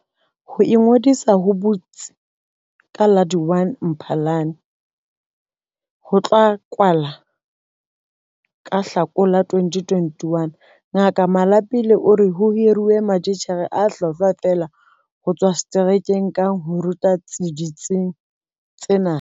Ho ingodisa ho butsi ka la1 Mphalane mme ho tla kwala ka Hlakola 2021. Ngaka Malapile o re ho hiruwe matitjhere a hlwahlwa feela ho tswa seterekeng kang ho ruta ditsing tsena.